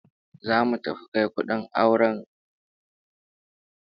Zamu tafi kai kudin auren kanin mu a gidan surukan sa